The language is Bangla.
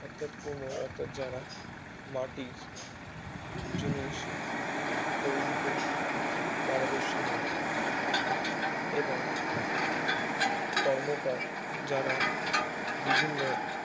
যারা জায়গার মাটির জিনিস তৈরিতে পারদর্শী হয় এবং কর্মকার যারা বিভিন্ন